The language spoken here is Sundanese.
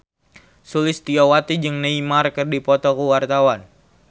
Sulistyowati jeung Neymar keur dipoto ku wartawan